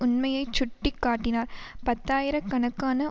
உண்மையை சுட்டி காட்டினார் பத்தாயிர கணக்கான